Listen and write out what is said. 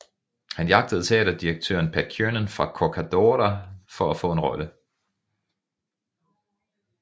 Han jagtede teaterdirektøren Pat Kiernan fra Corcadorca for at få en rolle